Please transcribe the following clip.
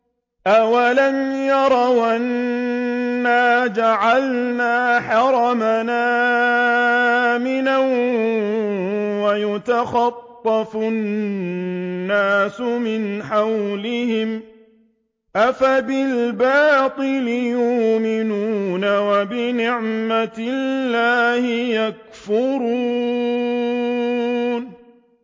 أَوَلَمْ يَرَوْا أَنَّا جَعَلْنَا حَرَمًا آمِنًا وَيُتَخَطَّفُ النَّاسُ مِنْ حَوْلِهِمْ ۚ أَفَبِالْبَاطِلِ يُؤْمِنُونَ وَبِنِعْمَةِ اللَّهِ يَكْفُرُونَ